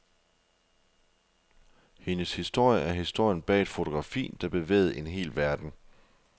Hendes historie er historien bag et fotografi, der bevægede en hel verden.